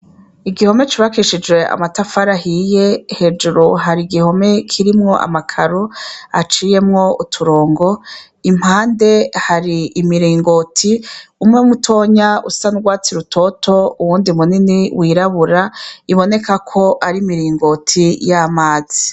Igihome cubakishije amatafarahiye hejuru hari igihome kirimwo amakaru aciyemwo uturongo impande hari imiringoti umwe mutonya usa ndwatsi rutoto uwundi munini wirabura iboneka ko ari miringoti y'amazi.